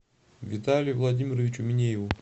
виталию владимировичу минееву